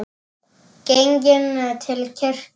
Genginn til kirkju.